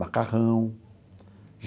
Macarrão.